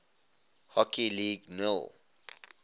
hockey league nhl